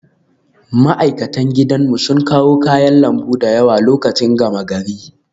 Ma'aikatan gidanmu sun kawo kayan lambu da yawa lokacin gama gari